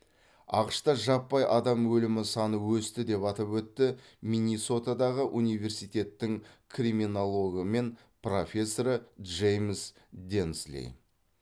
ақш та жаппай адам өлімі саны өсті деп атап өтті миннесотадағы университеттің криминологы мен профессоры джеймс денсли